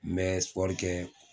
N bɛ kɛ.